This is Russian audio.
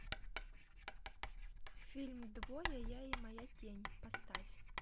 фильм двое я и моя тень поставь